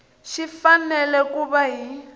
xi fanele ku va hi